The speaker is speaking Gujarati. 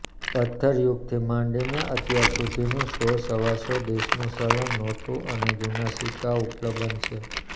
પત્થર યુગથી માંડીને અત્યાર સુધીનું સો સવાસો દેશનું ચલણ નોટુ અને જુના સીકકા ઉપલબ્ધ છે